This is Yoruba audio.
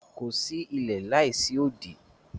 Kò sí ilẹ̀ láísí òdì.